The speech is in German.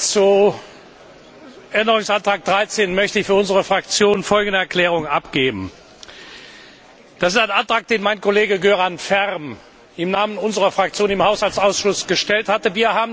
Zu Änderungsantrag 13 möchte ich für unsere Fraktion folgende Erklärung abgeben Das ist ein Antrag, den mein Kollege Göran Färm im Namen unserer Fraktion im Haushaltsausschuss gestellt hatte.